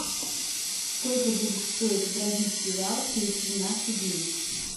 сколько будет стоить бразильский реал через двенадцать дней